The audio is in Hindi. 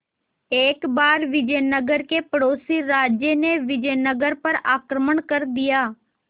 एक बार विजयनगर के पड़ोसी राज्य ने विजयनगर पर आक्रमण कर दिया